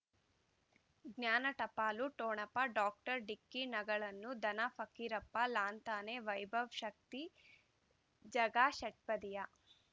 ಜ್ಞಾನ ಟಪಾಲು ಠೊಣಪ ಡಾಕ್ಟರ್ ಢಿಕ್ಕಿ ಣಗಳನು ಧನ ಫಕೀರಪ್ಪ ಲಾಂತಾನೆ ವೈಭವ್ ಶಕ್ತಿ ಝಗಾ ಷಟ್ಪದಿಯ